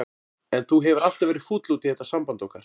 En þú hefur alltaf verið fúll út í þetta samband okkar.